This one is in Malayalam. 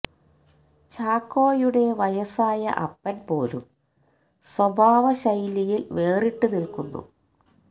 ചാക്കോയുടെ വയസ്സായ അപ്പൻ പോലും സ്വഭാവ ശൈലിയിൽ വേറിട്ട് നിൽക്കുന്നു